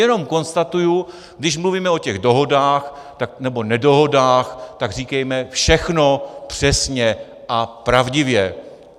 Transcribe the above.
Jenom konstatuji, když mluvíme o těch dohodách, nebo nedohodách, tak říkejme všechno přesně a pravdivě!